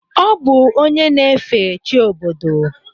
Ọ bụ onye na-efe chi obodo.